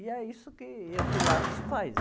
E é isso que o Pilates faz.